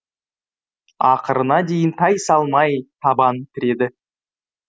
ақырына дейін тайсалмай табан тіреді